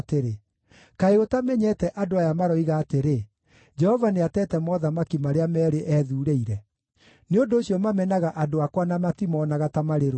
“Kaĩ ũtamenyete andũ aya maroiga atĩrĩ, ‘Jehova nĩatete mothamaki marĩa meerĩ ethuurĩire’? Nĩ ũndũ ũcio mamenaga andũ akwa na matimoonaga ta marĩ rũrĩrĩ.